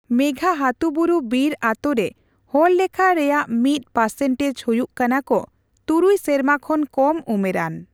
ᱢᱮᱜᱷᱟᱦᱟᱛᱩᱵᱩᱨᱩ ᱵᱤᱨ ᱟᱛᱳᱨᱮ ᱦᱚᱲ ᱞᱮᱠᱷᱟ ᱨᱮᱭᱟᱜ ᱢᱤᱛ ᱯᱟᱨᱥᱮᱱᱴᱮᱡ ᱦᱩᱭᱩᱜ ᱠᱟᱱᱟ ᱠᱚ ᱛᱩᱨᱩᱭ ᱥᱮᱨᱢᱟ ᱠᱷᱚᱱ ᱠᱚᱢ ᱩᱢᱮᱨᱟᱱ ᱾